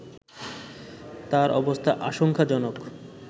তার অবস্থা আশংকাজনক